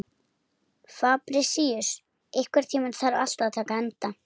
Fabrisíus, einhvern tímann þarf allt að taka enda.